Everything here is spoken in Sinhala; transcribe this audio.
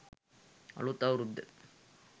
අලූත් අවුරුද්ද